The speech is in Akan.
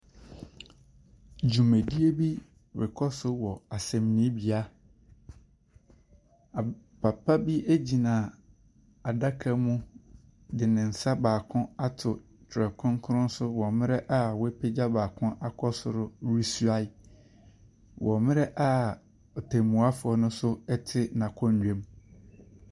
Dwumadie bi rekɔ so wɔ asɛnnibea. Papa bi ɛgyina adaka mu de ne nsa baako ato Twerɛ Krɔnkrɔn so wɔ mmerɛ a wapagya baako akɔ soro na ɔresuae wɔ mmerɛ ɔtɛmmuafo no so ɛte n’akonnwa mu.